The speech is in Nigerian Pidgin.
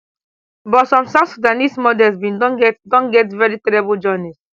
but some south sudanese models bin don get don get veri terrible journeys